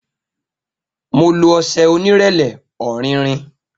Mo lo ọṣẹ onírẹlẹ, ọrinrin.